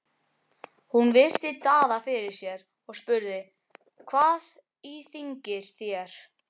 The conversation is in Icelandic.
Hún virti Daða fyrir sér og spurði: Hvað íþyngir þér?